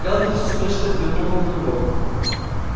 кэлвин с усмешкой взглянула на него